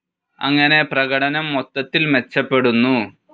അങ്ങനെ പ്രകടനം മൊത്തത്തിൽ മെച്ചപ്പെടുന്നു.